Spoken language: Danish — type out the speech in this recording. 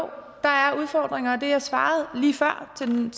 der er udfordringer og det jeg svarede lige før til den